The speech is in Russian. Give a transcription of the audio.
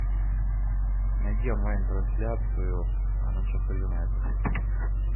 найди онлайн трансляцию манчестер юнайтед